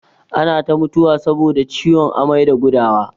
Ana ta mutuwa saboda ciwon amai da gudawa.